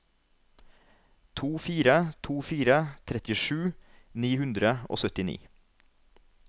to fire to fire trettisju ni hundre og syttini